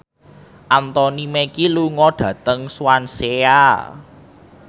Anthony Mackie lunga dhateng Swansea